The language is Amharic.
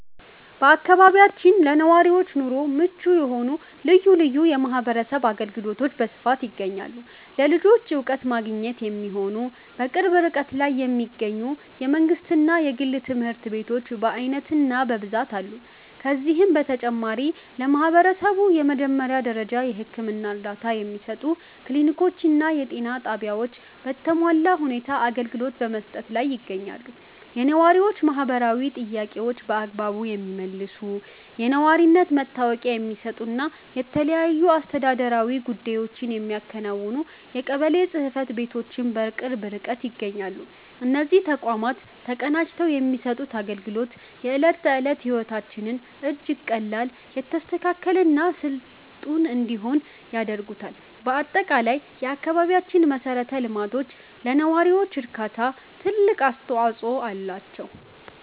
በአካባቢያችን ለነዋሪዎች ኑሮ ምቹ የሆኑ ልዩ ልዩ የማህበረሰብ አገልግሎቶች በስፋት ይገኛሉ። ለልጆች ዕውቀት ማግኛ የሚሆኑ፣ በቅርብ ርቀት ላይ የሚገኙ የመንግሥትና የግል ትምህርት ቤቶች በዓይነትና በብዛት አሉ። ከዚህም በተጨማሪ፣ ለማህበረሰቡ የመጀመሪያ ደረጃ የሕክምና እርዳታ የሚሰጡ ክሊኒኮችና የጤና ጣቢያዎች በተሟላ ሁኔታ አገልግሎት በመስጠት ላይ ይገኛሉ። የነዋሪዎችን ማህበራዊ ጥያቄዎች በአግባቡ የሚመልሱ፣ የነዋሪነት መታወቂያ የሚሰጡና የተለያዩ አስተዳደራዊ ጉዳዮችን የሚያከናውኑ የቀበሌ ጽሕፈት ቤቶችም በቅርብ ርቀት ይገኛሉ። እነዚህ ተቋማት ተቀናጅተው የሚሰጡት አገልግሎት፣ የዕለት ተዕለት ሕይወታችንን እጅግ ቀላል፣ የተስተካከለና ስልጡን እንዲሆን ያደርጉታል። በአጠቃላይ፣ የአካባቢያችን መሠረተ ልማቶች ለነዋሪው እርካታ ትልቅ አስተዋጽኦ አላቸው።